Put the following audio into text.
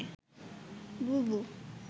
বুবু